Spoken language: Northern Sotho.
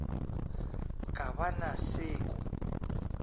ka ba na se ko